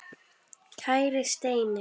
Kæri Steini.